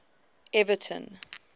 everton